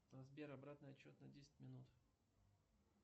сбер обратный отсчет на десять минут